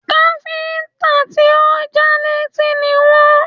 Káfíńtà tí ò já létí ni wọ́n